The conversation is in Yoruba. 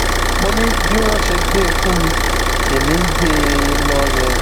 mo ní bí wọn ṣe gbé e fún mi lèmi ń gbé e lọ yẹn